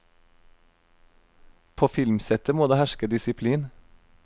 På filmsettet må det herske disiplin.